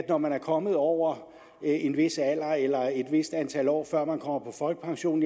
når man er kommet over en vis alder eller et vist antal år før man kommer på folkepension